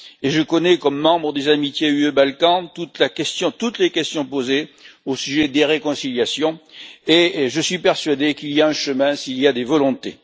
Je connais, comme membre des amitiés UE Balkans, toutes les questions posées au sujet des réconciliations et je suis persuadé qu'il y a un chemin s'il y a des volontés.